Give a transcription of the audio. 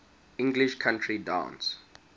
english country dance